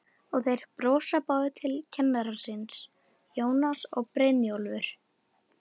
Og þeir brosa báðir til kennara síns, Jónas og Brynjólfur.